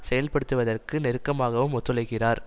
செயல்படுத்துவதற்கு நெருக்கமாகவும் ஒத்துழைக்கிறார்